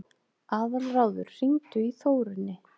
Aðalráður, hringdu í Þórunni.